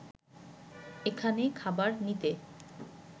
এখানে খাবার নিতে